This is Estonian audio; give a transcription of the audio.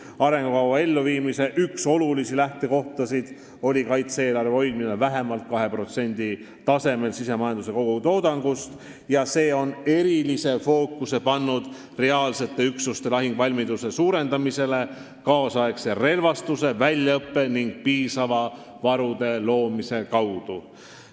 Arengukava elluviimise üks olulisi lähtekohti oli kaitse-eelarve hoidmine vähemalt 2% tasemel sisemajanduse kogutoodangust ning see on pannud erilise fookuse reaalsete üksuste lahinguvalmiduse suurendamisele kaasaegse relvastuse, väljaõppe ja piisavate varude loomise kaudu.